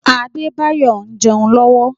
Adebayor ń jẹun lọ́wọ́.